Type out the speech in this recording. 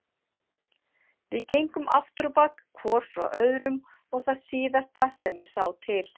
Við gengum afturábak hvor frá öðrum og það síðasta sem ég sá til